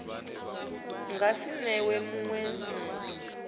nga si newe munwe muthu